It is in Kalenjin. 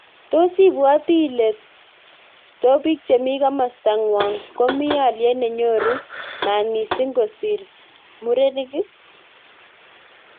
Tos ibwoti ile tobik chemi kimosta ngwong komi alyet nenyoru maat missing kosir murenik?